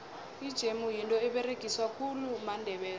ijemu yinto eberegiswa khulu mandebele